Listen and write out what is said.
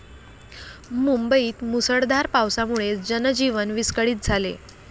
मुंबईत मुसळधार पावसामुळे जनजीवन विस्कळीत झाले.